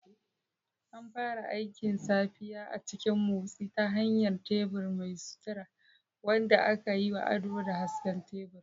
An fara aikin safiya a cikin motsi ta hanyar tebur mai sutura, wanda aka yi wa ado da hasken tebur.